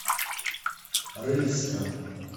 рыльском